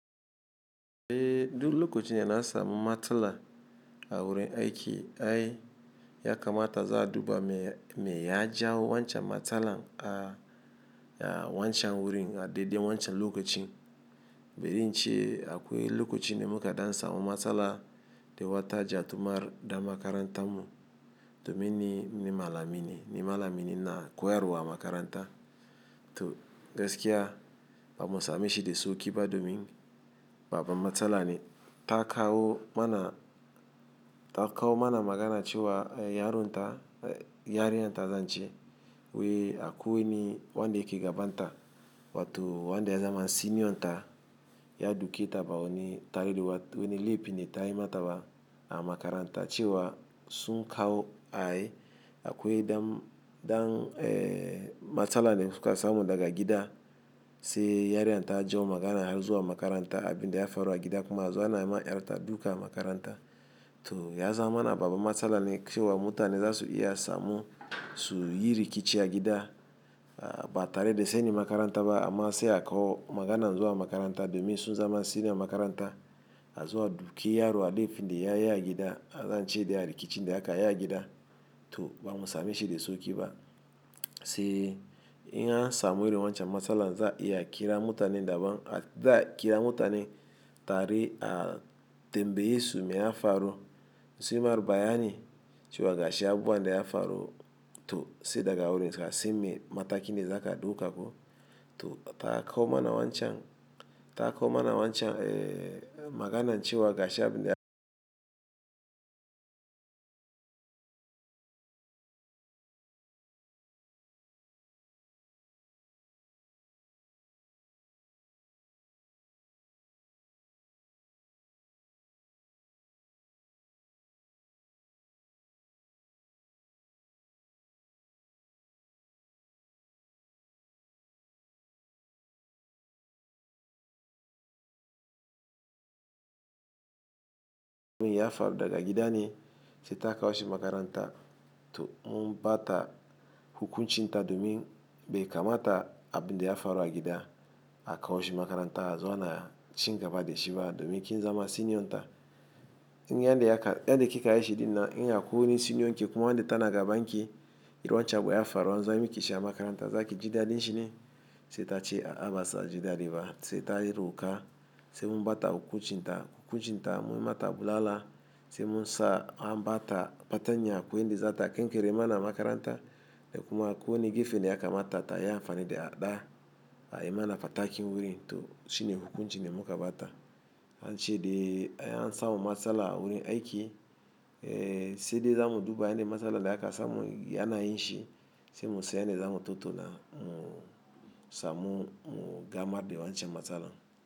Eh duk lokacin yana samun matsala a wurin aiki ai ya kamata za a duba me ya jawo wancan matsalar a wancan wurin a daidai wancan lokacin. Baran in ce akwai lokacin da muka da samun matsala da wata ja tu mar da makarantar mu domin ne malamini, ne malamini na koyarwa a makaranta. To gaskiya bamu samu shi da sauƙi ba domin babu matsala ne ta kawo mana, ta kawo mana magana cewa yaronta, yarinyar ta zance wai akwai wanda yake gabanta. Wato wanda ya zama senior ta to gaskiya bamu samu shi da sauƙi ba domin babbban matsala ne ta kawo mana, ta kawo mana magana cewa yaronta, yarinyar ta zance wiyi akwai wanda yake gabanta. A makaranta cewa sun kawo ai akwai dam, dam eh matsala ne suka samu daga gida. Sai yarinyar ta jawo magana har zuwa makaranta abin da ya faru a gida kuma har zuwa na yi ma yar ta duka a makaranta. To ya zama na babu matsala ne cewa mutane za su iya samun su yi rikici a gida ba tare da sani makaranta ba amma sai akawo magana zuwa makaranta domin sun zama senior makaranta azo a doki yaro akan laifin da yayi a gida. A zance da a rikici da aka yi a gida. To bamu same shi da sauƙi ba. Sai in an samu wani wancan matsala za a iya kira mutane daban, za a kira mutane tare a tambaye su me ya faru. Su mar bayani cewa gashi abu wanda ya faru. To sai daga wurin za'a san me mataki ne za ka duka ko. To ta kawo mana wancan, ta kawo mana wancan eh maganan cewa gashi abin da ya faru daga gida ne sai ta kawo shi makaranta. To mun bata hukunci ta domin bai kamata abin da ya faru a gida a kawo shi makaranta a zo ana cin gaba da shi ba domin kin zama senior ta. In yadda yake, yadda kika yi shi dinnan in akwai wani senior ki kuma wanda tana gaban ki, yi wancan abu ya faru, an zo anyi miki shi a makaranta, za ki ji daɗin shine? Sai ta ce a'a ba sa ji daɗi ba. Sai ta yi kuka sai mun bata hukunci ta. Hukunci ta mu mata bulala sai mun sa an bata, fatanya kuwa in dai za ta kai kankare ma na makaranta da kuma ko wani gefe da ya kamata ta yi amfani da hada a yi mana fatakin wurin. To shine hukuncin da muka bata. Ince dai an samu matsala a wurin aiki. Eh sai dai za mu duba yanda matsalar da aka samu yana yin shi sai mu san yanda za mu tattauna, mu samu mu gama da wancan matsalar.